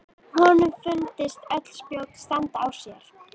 Honum fundust öll spjót standa á sér.